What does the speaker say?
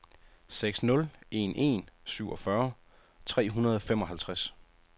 seks nul en en syvogfyrre tre hundrede og femoghalvtreds